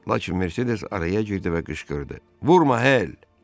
Lakin Mersedes araya girdi və qışqırdı: Vurma, Hel!